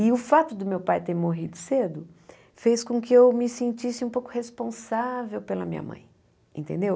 E o fato do meu pai ter morrido cedo fez com que eu me sentisse um pouco responsável pela minha mãe, entendeu?